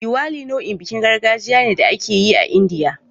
Diwali nau'in bikin gargajiya ne da ake yi a Indiya.